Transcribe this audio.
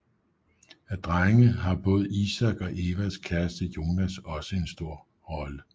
Af drenge har både Isak og Evas kæreste Jonas også en stor rolle